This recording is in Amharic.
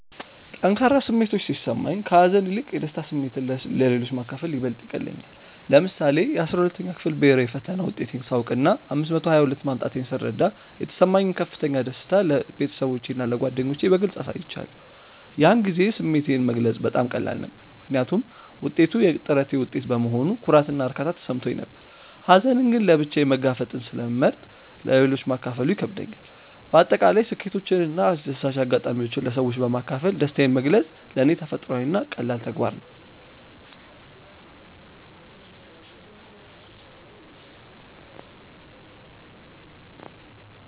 ጠንካራ ስሜቶች ሲሰማኝ፣ ከሀዘን ይልቅ የደስታ ስሜትን ለሌሎች ማካፈል ይበልጥ ይቀልለኛል። ለምሳሌ፣ የ12ኛ ክፍል ብሄራዊ ፈተና ውጤቴን ሳውቅና 522 ማምጣቴን ስረዳ የተሰማኝን ከፍተኛ ደስታ ለቤተሰቦቼና ለጓደኞቼ በግልጽ አሳይቻለሁ። ያን ጊዜ ስሜቴን መግለጽ በጣም ቀላል ነበር፤ ምክንያቱም ውጤቱ የጥረቴ ውጤት በመሆኑ ኩራትና እርካታ ተሰምቶኝ ነበር። ሀዘንን ግን ለብቻዬ መጋፈጥን ስለመርጥ ለሌሎች ማካፈሉ ይከብደኛል። በአጠቃላይ ስኬቶችንና አስደሳች አጋጣሚዎችን ለሰዎች በማካፈል ደስታዬን መግለጽ ለኔ ተፈጥሯዊና ቀላል ተግባር ነው።